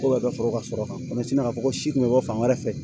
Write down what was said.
Ko bɛ ka sɔrɔ ka sɔrɔ kan ka fɔ ko si kun bɛ bɔ fan wɛrɛ fɛ